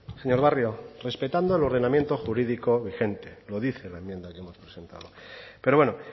señor barrio respetando el ordenamiento jurídico vigente lo dice la enmienda que hemos presentado pero bueno